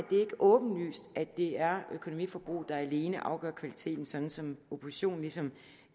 åbenlyst at det er økonomiforbruget der alene afgør kvaliteten sådan som oppositionen ligesom